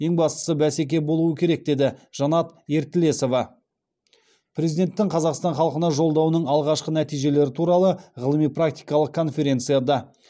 ең бастысы бәсеке болуы керек деді жанат ертілесова президенттің қазақстан халқына жолдауының алғашқы нәтижелері туралы ғылыми практикалық конференцияда